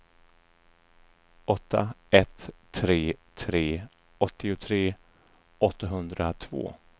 åtta ett tre tre åttiotre åttahundratvå